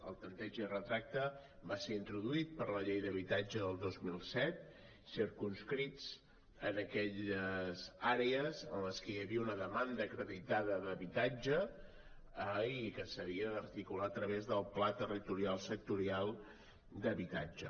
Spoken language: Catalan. el tanteig i retracte van ser introduïts per la llei d’habitatge del dos mil set circumscrits en aquelles àrees en les que hi havia una demanda acreditada d’habitatge i que s’havia d’articular a través del pla territorial sectorial d’habitatge